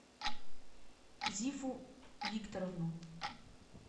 зифу викторовну